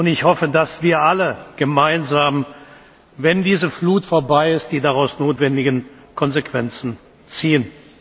Ich hoffe, dass wir alle gemeinsam, wenn diese Flut vorbei ist, die daraus notwendigen Konsequenzen ziehen.